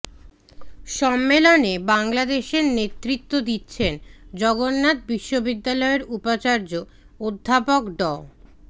সম্মেলনে বাংলাদেশের নেতৃত্বে দিচ্ছেন জগন্নাথ বিশ্ববিদ্যালয়ের উপাচার্য অধ্যাপক ড